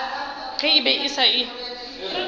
ge e be e se